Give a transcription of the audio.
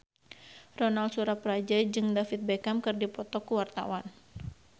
Ronal Surapradja jeung David Beckham keur dipoto ku wartawan